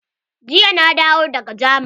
Jiya na dawo daga jamani.